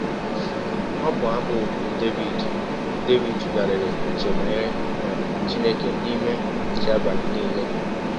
Ọbụ abụ bụ́ Devid ‘ Devid ‘ tụgharịrị ụche banyere um Chineke n’ime nche abalị nile. ’